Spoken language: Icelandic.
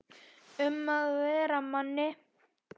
Um að vera Manni!